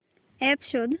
app शोध